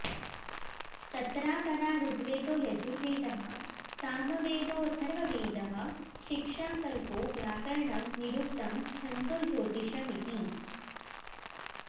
तत्रापरा ऋग्वेदो यजुर्वेदः सामवेदोऽथर्ववेदः शिक्षा कल्पो व्याकरणं निरुक्तं छन्दो ज्योतिषमिति